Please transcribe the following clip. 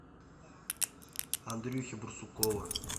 андрюхи барсукова